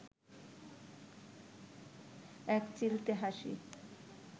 একচিলতে হাসি